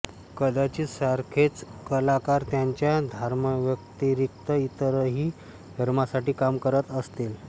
कदाचित सारखेच कलाकार त्यांच्या धर्माव्यतिरिक्त इतरही धर्मांसाठी काम करत असतील